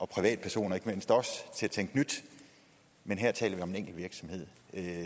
privatpersoner til at tænke nyt men her taler vi om en enkelt virksomhed